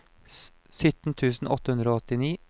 sytten tusen åtte hundre og åttini